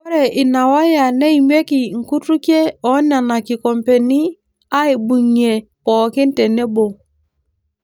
Ore ina waya neimieki nkutukie enena kikombeni aaibung'ie pookin tenebo.